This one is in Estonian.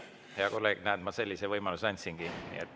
Hea kolleeg, näed, sellise võimaluse ma andsingi.